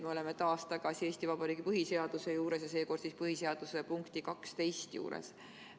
Me oleme taas tagasi Eesti Vabariigi põhiseaduse juures, seekord siis punkti 12 juures.